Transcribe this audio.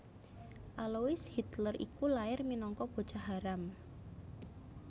Alois Hitler iku lair minangka bocah haram